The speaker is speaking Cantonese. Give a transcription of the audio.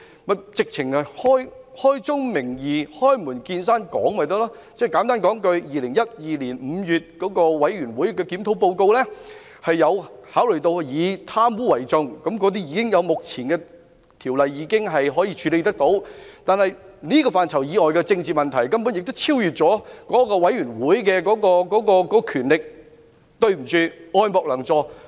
便乾脆開宗明義、開門見山提出，即簡單交代2012年5月的檢討委員會報告的考慮以貪污為重，目前的條例已能夠處理這些問題，至於這個範圍以外的政治問題根本已超越該檢討委員會的權力，所以，對不起，愛莫能助。